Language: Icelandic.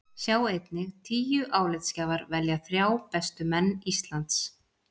Sjá einnig: Tíu álitsgjafar velja þrjá bestu menn Íslands